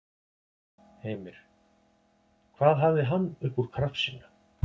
Heimir: Hvað hafði hann upp úr krafsinu?